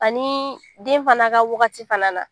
Ani den fana ka wagati fana na